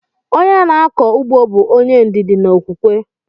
Onye na-akọ ụgbọ bụ onye ndidi na okwukwe